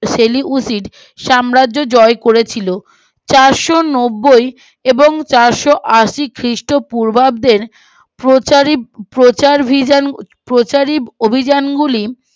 সেলিম উদ্দিন সাম্রাজ্য জয় করেছিল চারশো নবই এবং চারশো আশি খ্রীষ্ট পুর্বাদের প্রচার ভিশন প্রচারি অভিযানগুলি